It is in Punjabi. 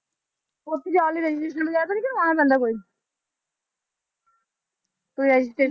ਉੱਥੇ ਜਾਣ ਲਈ registration ਵਗ਼ੈਰਾ ਤਾਂ ਨੀ ਕਰਵਾਉਣਾ ਪੈਂਦਾ ਕੋਈ ਕੋਈ registration